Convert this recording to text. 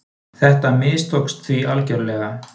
Þetta mistókst því algjörlega.